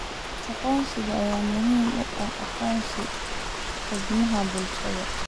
Aqoonsiga ayaa muhiim u ah aqoonsiga xubnaha bulshada.